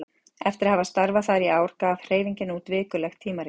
Eftir að hafa starfað þar í ár gaf hreyfingin út vikulegt tímarit.